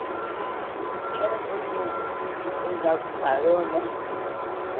De de Era um pouquinho... Depois logo parou, né? Eh